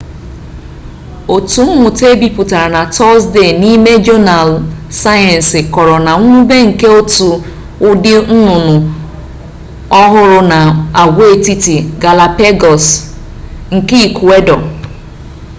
otu mmụta e bipụtara na tọzdee n'ime jọnaalụ sayensi kọrọ na mwube nke otu ụdị nnụnụ ọhụrụ na agwaetiti galapagos nke ikuedọ